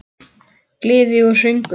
Gleði og söngur.